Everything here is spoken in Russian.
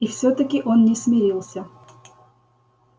и всё-таки он не смирился